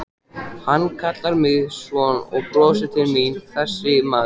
Hann kallar mig son og brosir til mín þessi maður.